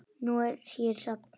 Nú er hér safn.